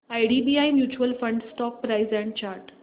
IDBI mutual fund stock price and chart